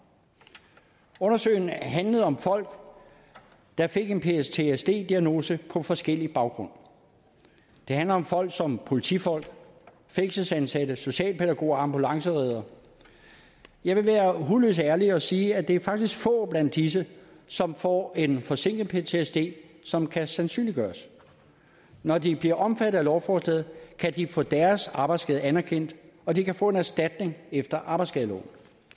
undersøgelsen handlede om folk der fik en ptsd diagnose på forskellig baggrund det handler om folk som politifolk fængselsansatte socialpædagoger ambulancereddere jeg vil være hudløst ærlig og sige at det faktisk er få blandt disse som får en forsinket ptsd som kan sandsynliggøres når de bliver omfattet af lovforslaget kan de få deres arbejdsskade anerkendt og de kan få en erstatning efter arbejdsskadeloven